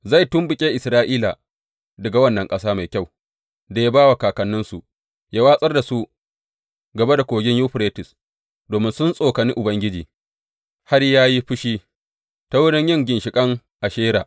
Zai tumɓuke Isra’ila daga wannan ƙasa mai kyau da ya ba wa kakanninsu, yă watsar da su gaba da Kogin Yuferites domin sun tsokane Ubangiji har ya yi fushi, ta wurin yin ginshiƙan Ashera.